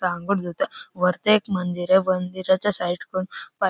वरती एक मंदिर आहे मंदिराच्या साइड कुन